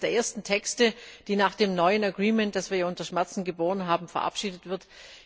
Es ist einer der ersten Texte, der nach dem neuen Abkommen, das wir ja unter Schmerzen geboren haben, verabschiedet wird.